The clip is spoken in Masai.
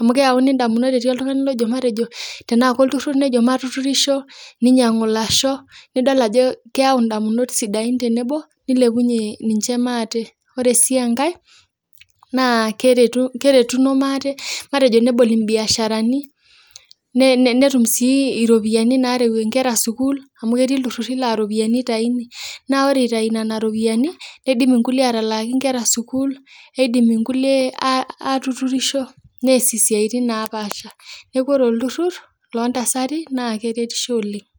amu keyauni indamunot etii oltungani lojo matejo tenaa ake olturur nejo matuturisho, neinyang'u ilasho nidol ajo keyau indamunot sidain tenebo neilepunye ninche maate. Ore sii enkae naa keretuno maate, metjo nebo imbiasharani netum sii iropiyiani naarawue sukuul amu ketii ilturruri naa iropiyaini eitaini, naa ore eitai nena iropiyiani, neidim nkulie atalaaki inkera sukuul, neidim nkulie aatuturisho, neasie siatini napaasha. Neaku ore olturrur loo ntasati naa keretisho oleng'.